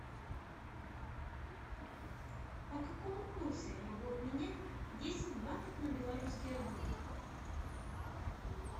по какому курсу я могу обменять десять батов на белорусские рубли